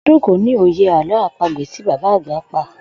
O̩dún kò ní òye àló̩ àpagbè tí bàbá àgbà pa